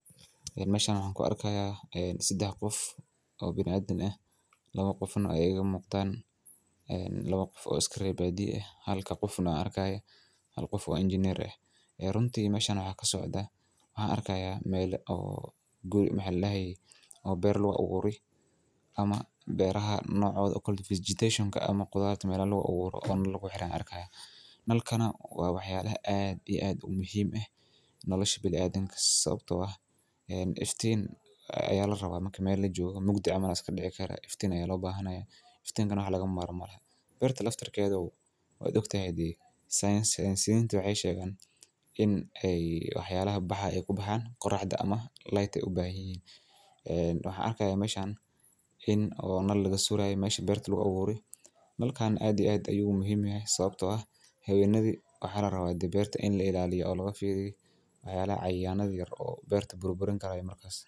Ee meshan waxa ku arkaya in sidax qof oo bini'aadin ah laba qofuna ay iga muqtaan, ee laba qof oo iskareebadiisa. Halka qofuna arkaya halka qofu waa engineer eh. Ee runtii meshan waxaa ka socda, waxaa arkaya meeli ugu guuri maxay lahayo oo beer lagu abuuri ama beeraha noocoda vegetation nka ama gudaadha meela lagu guuri oo nan lagu xiraan arkaya. Nalkana waa waxyaabaha aad iyo aad u muhiim ah. Noloshu bil adinka sabtow ah in iftiin ayaa la rabaa markii meel la joogo, mugti ama askar dhici kara. Iftiin ayaa loo baahan yahay. Iftiinkana waxa laga maarmal lahaa. Beertar laftarkoodu waa ugtay haddii science waxay sheegan in ay waxyaalaha baxa ay ku baxaan quraxda ama cs]light u baahiyeen. Wuxuu arkayaa meshan inoo naal laga suuraayo mayshii beerta lagu abuuri. Nalkaan aadi aad ayuu muhiimayay sabtoo ah hay'addi waxaad harawaadi beerta in la ilaaliyo oo laga fiiri doono ayaa cayaanada yar oo beerta bur-burn kala duwan markaas.